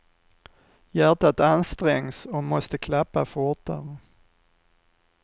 Hjärtat ansträngs och måste klappa fortare.